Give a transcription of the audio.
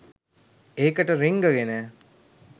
ඒකට රිංගගෙන